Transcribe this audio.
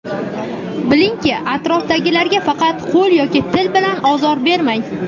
Bilingki, atrofdagilarga faqat qo‘l yoki til bilan ozor bermang.